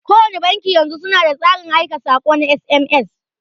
Kowanne banki yanzu suna da tsarin aika saƙo na SMS.